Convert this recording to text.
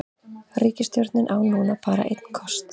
Ríkisstjórnin á núna bara einn kost